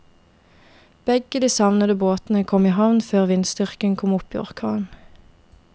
Begge de savnede båtene kom i havn før vindstyrken kom opp i orkan.